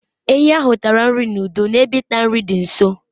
ehi ahụ tara nri n'udo n'ebe ịta nri dị nso